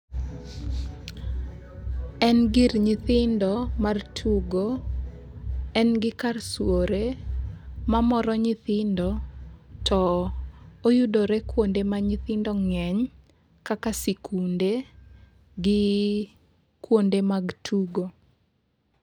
En gir nyithindo mar tugo. En gi kar swore ma moro nythindo. To oyudore kuonde ma nyithindo ng'eny kaka sikunde gi kuonde mag tugo.